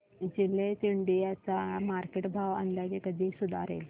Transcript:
Gillette India चा market भाव अंदाजे कधी सुधारेल